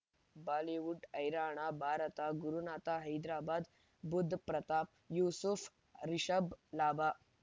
Bollywood ಹೈರಾಣ ಭಾರತ ಗುರುನಾಥ ಹೈದರಾಬಾದ್ ಬುಧ್ ಪ್ರತಾಪ್ ಯೂಸುಫ್ ರಿಷಬ್ ಲಾಭ